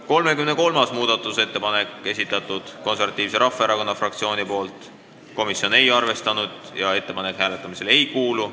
33. muudatusettepaneku on esitanud Eesti Konservatiivse Rahvaerakonna fraktsioon, komisjon ei ole arvestanud ja ettepanek hääletamisele ei kuulu.